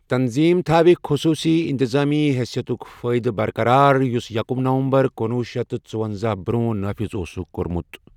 تنظیٖم تھاوِ خصوٗصی انتظٲمی حیثیتُک فٲیدٕ برقرار، یُس یکم نومبرکنوہ شتھ ژُونزاہ برٛونٛہہ نافذ اوسُکھ کوٚرمُت۔